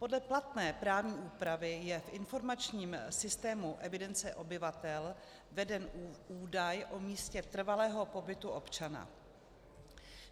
Podle platné právní úpravy je v informačním systému evidence obyvatel veden údaj o místě trvalého pobytu občana.